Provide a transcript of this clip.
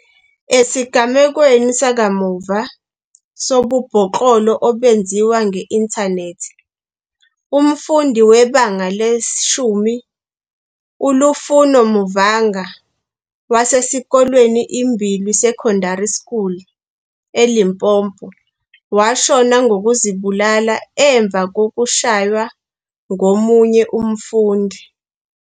Esigamekweni sakamuva sobubhoklolo obenziwa nge-inthanethi, umfundi weBanga le-10 uLufuno Mavhunga, wasesikolweni iMbilwi Secondary School eLimpopo, washona ngokuzibulala emva kokushaywa ngomunye umfundi.